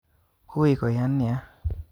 Ui koyan nia